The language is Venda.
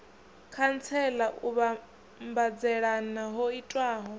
khantsela u vhambadzelana ho itiwaho